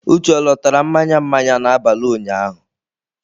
Uche ọ lọtara mmanya mmanya n'abalị ụnyaahụ